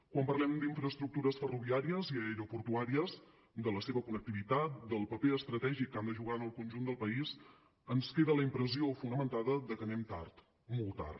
quan parlem d’infraestructures ferroviàries i aeroportuàries de la seva connectivitat del paper estratègic que han de jugar en el conjunt del país ens queda la impressió fonamentada de que anem tard molt tard